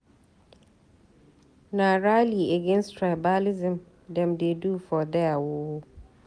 Na rally against tribalism dem dey do for there o.